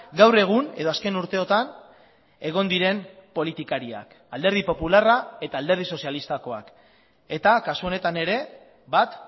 gaur egun edo azken urteotan egon diren politikariak alderdi popularra eta alderdi sozialistakoak eta kasu honetan ere bat